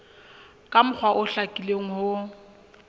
ka mokgwa o hlakileng ho